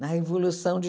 na Revolução de